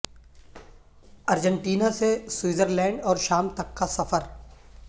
Argentina سے Switzerland اور شام تک کا سفر